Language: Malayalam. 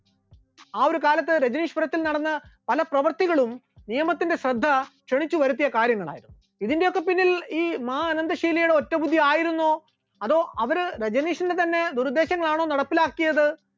ആ ഒരു കാലത്ത് രജനീഷ്‌പുരത്തിൽ നടന്ന പല പ്രവർത്തികളും നിയമത്തിന്റെ ശ്രദ്ധ ക്ഷണിച്ചുവരുത്തിയ കാര്യങ്ങൾ, ഇതിന്റെയൊക്കെ പിന്നിൽ ഈ മാ അനന്ദ ഷീലയുടെ ഒറ്റബുദ്ധി ആയിരുന്നോ അതോ അവർ രജനീഷിന്റെ തന്നെ നിർദ്ദേശങ്ങൾ ആണോ നടപ്പിലാക്കിയത്